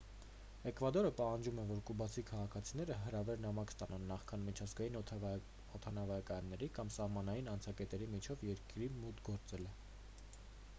էկվադորը պահանջում է որ կուբացի քաղաքացիները հրավեր-նամակ ստանան նախքան միջազգային օդանավակայանների կամ սահմանային անցակետերի միջոցով երկիր մուտք գործելը